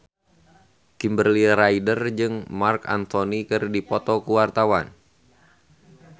Kimberly Ryder jeung Marc Anthony keur dipoto ku wartawan